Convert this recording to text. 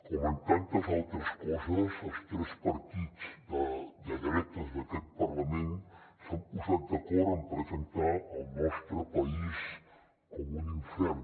com en tantes altres coses els tres partits de dretes d’aquest parlament s’han posat d’acord en presentar el nostre país com un infern